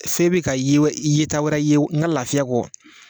F'e be ka ye yeta wɛrɛ ye n ga lafiya kɔ